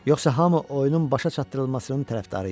Yoxsa hamı oyunun başa çatdırılmasının tərəfdarı idi.